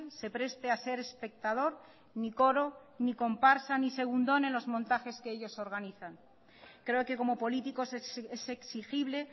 se preste a ser espectador ni coro ni comparsa ni segundón en los montajes que ellos organizan creo que como políticos es exigible